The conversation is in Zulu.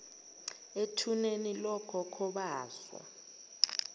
ethuneni lokhokho baso